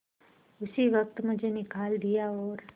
उसी वक्त मुझे निकाल दिया और